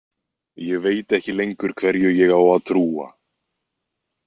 Ég veit ekki lengur hverju ég á að trúa.